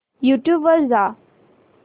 YouTube वर जा